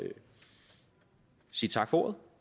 sige tak for ordet